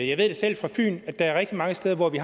jeg ved det selv fra fyn at der er rigtig mange steder hvor vi